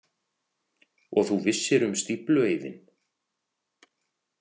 Og þú vissir um stíflueyðinn?